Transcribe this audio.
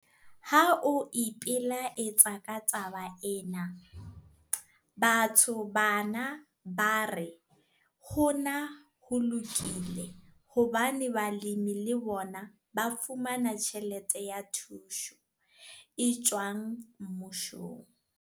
Ha o ipelaetsa ka taba ena, batho bana ba re hona ho lokile hobane balemi le bona ba fumana "tjhelete ya thuso" e tswang Mmusong.